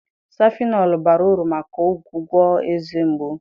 Safịnọlụ bara uru maka ọgwụgwọ eze mgbu.